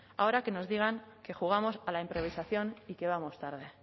ahora que nos digan que jugamos a la improvisación y que vamos tarde